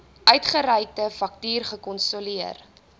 uitgereikte faktuur gerekonsilieer